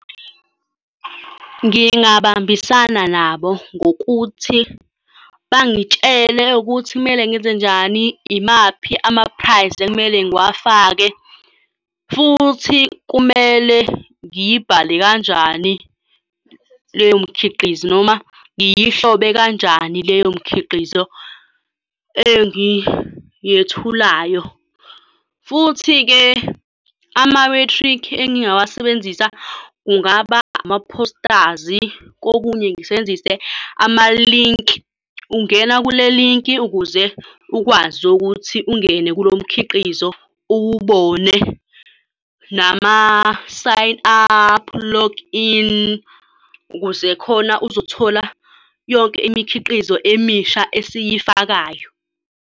Ngingabambisana nabo ngokuthi bangitshele ukuthi kumele ngenzenjani, imaphi ama-price ekumele ngiwafake, futhi kumele ngiyibhale kanjani leyo mikhiqizo, noma ngiyihlobe kanjani leyo mikhiqizo engiyethulayo. Futhi-ke amamethrikhi engingawasebenzisa kungaba ama-posters, kokunye ngisebenzise amalinki. Ungena kule linki ukuze ukwazi ukuthi ungene kulo mkhiqizo ukuze uwubone nama-sign up, log in, ukuze khona uzothola yonke imikhiqizo emisha esiyifakayo.